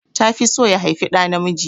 Ta fi so ya haifi ɗa namiji